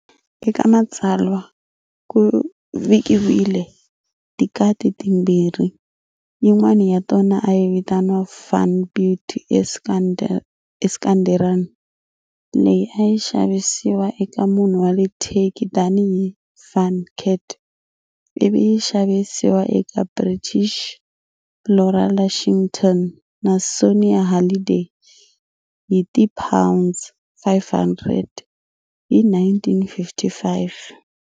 Eka matsalwa, ku vikiwile tikati timbirhi, yin'wana ya tona a yi vitaniwa "Van beauty Iskenderun", leyi a yi xavisiwa eka munhu wa le Turkey tani hi "Van cat" ivi yi xavisiwa eka British Laura Lushington na Sonia Halliday hi ti pounds 500 hi 1955.